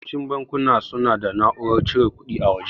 Yawancin bankuna suna da na'urar cire kuɗi a waje.